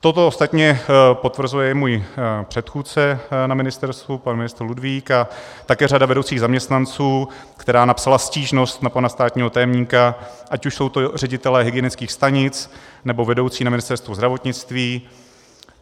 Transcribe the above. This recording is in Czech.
Toto ostatně potvrzuje i můj předchůdce na ministerstvu, pan ministr Ludvík, a také řada vedoucích zaměstnanců, která napsala stížnost na pana státního tajemníka, ať už jsou to ředitelé hygienických stanic, nebo vedoucí na Ministerstvu zdravotnictví.